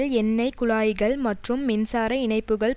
எண்ணெய் குழாய்கள் மற்றும் மின்சார இணைப்புக்கள்